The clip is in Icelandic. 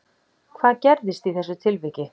Hvað gerðist í þessu atviki